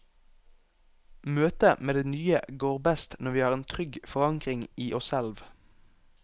Møtet med det nye går best når vi har en trygg forankring i oss selv.